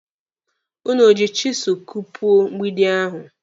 Ụnụ o ji chisụlụ kupuo mgbidi ahụ?